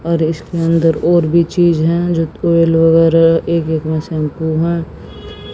और इसके अंदर और भी चीज हैं जो ऑयल वगैरा एक एक शैंपू है।